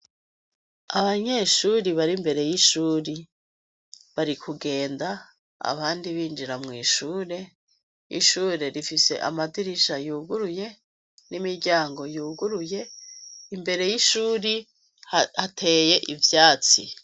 Abanyeshuri bari imbere yishuri bari kugenda abandi binjira mwishure ishure rifise amadirisha yuguruye nimiryango yuguruye imbere yishure hateye ivyatsi